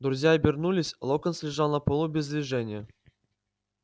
друзья обернулись локонс лежал на полу без движения